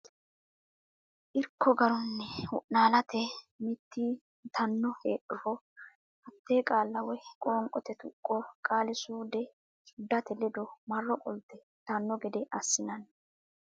Irko Garunni wo naalate mitii mitanno heedhuro hatte qaalla woy qoonqote tuqqo qaali suude ate ledo marro qolte yitanno gede assinsa.